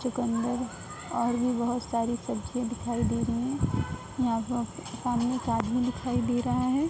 चुकंदर और भी बहोत सारी सब्जियां दिखाई दे रही हैं। यहाँ में आदमी दिखाई दे रहा है।